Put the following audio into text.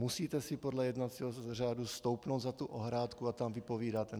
Musíte si podle jednacího řádu stoupnout za tu ohrádku a tam vypovídat.